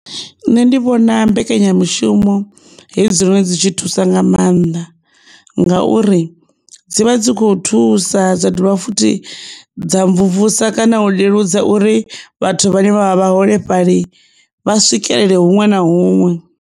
Nṋe ndi vhona mbekanyamushumo hedzi dziṅwe dzi tshi thusa nga mannḓa ngauri dzivha dzi kho thusa dza dovha futhi dza mvumvusa kana u leludza uri vhathu vha ne vha vha vhaholefhali vha swikelele huṅwe na huṅwe.